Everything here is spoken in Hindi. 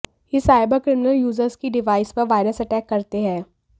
ये साइबरक्रिमिनल यूजर्स की डिवाइस पर वायरस अटैक करते हैं